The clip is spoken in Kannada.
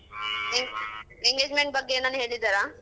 En~ engagement ಬಗ್ಗೆ ಎನಾನಾ ಹೇಳಿದಾರಾ?